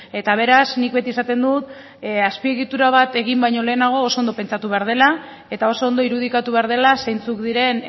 eta beraz nik beti esaten dut azpiegitura bat egin baino lehenago oso ondo pentsatu behar dela eta oso ondo irudikatu behar dela zeintzuk diren